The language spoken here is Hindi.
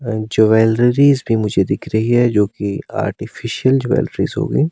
एंड ज्वेलरीज भी मुझे दिख रही है जो कि आर्टिफिशियल ज्वेलरीज होगी।